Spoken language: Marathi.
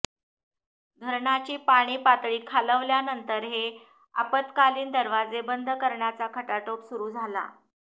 धरणाची पाणी पातळी खालावल्यानंतर हे आपतकालीन दरवाजे बंद करण्याचा खटाटोप सुरु झाला